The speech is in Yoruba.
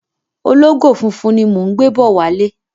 Ológò funfun ni mò ń gbé bọ̀ wálé.